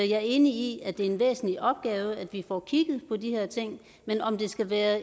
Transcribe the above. jeg er enig i at det er en væsentlig opgave at vi får kigget på de her ting men om det skal være